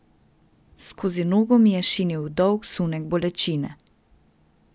Skozi nogo mi je šinil dolg sunek bolečine.